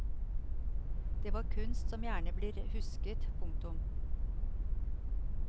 Det var kunst som gjerne blir husket. punktum